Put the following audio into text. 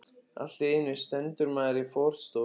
Allt í einu stendur maður í forstofunni.